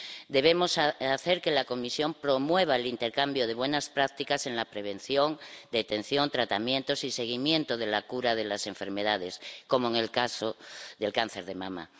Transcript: Debemos hacer que la Comisión promueva el intercambio de buenas prácticas en la prevención, detención, tratamientos y seguimiento de la cura de las enfermedades, como en el caso del cáncer de mama.